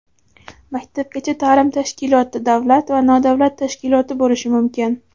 maktabgacha taʼlim tashkiloti davlat va nodavlat tashkiloti bo‘lishi mumkin.